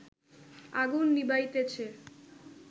আগুন নিবাইতেছে